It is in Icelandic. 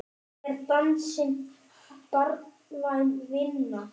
Er dansinn barnvæn vinna?